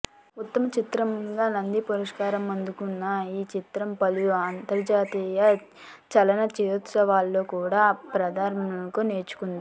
ఉత్తమ చిత్రంగా నంది పురస్కారం అందుకున్న ఈ చిత్రం పలు అంతర్జాతీయ చలనచిత్రోత్సవాల్లో కూడా ప్రదర్శనకు నోచుకుంది